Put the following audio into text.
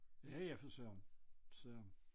Ja ja for Søren så